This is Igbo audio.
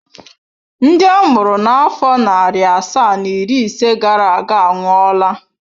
Ndị a mụrụ na afọ narị asaa na iri ise gara aga anwụọla.